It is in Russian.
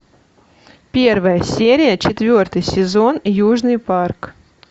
первая серия четвертый сезон южный парк